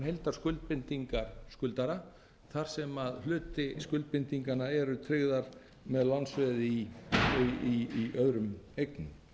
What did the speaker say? heildarskuldbindingar skuldara þar sem hluti skuldbindinganna er tryggður með lánsveði í öðrum eignum það er jafnframt